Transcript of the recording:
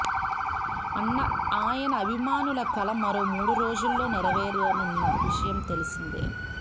అన్న ఆయన అభిమానుల కల మరో మూడు రోజుల్లో నెరవేరనున్న విషయం తెలిసిందే